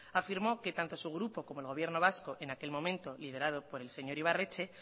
afirmó que tanto su grupo como el gobierno vasco en aquel momento liderado por el señor ibarretxe